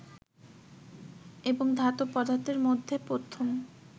এবং ধাতব পদার্থের মধ্যে প্রথম